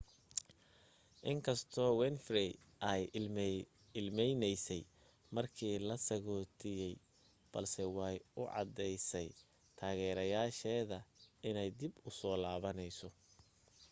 inkastoo winfrey ay ilmeynaysay markii la sagootinayay balse way u caddaysay taageerayaasheeda inay dib u soo laabanayso